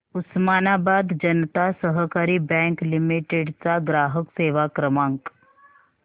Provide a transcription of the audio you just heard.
उस्मानाबाद जनता सहकारी bank limited चा ग्राहक सेवा क्रमांक